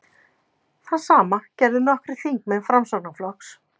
Það sama gerðu nokkrir þingmenn Framsóknarflokks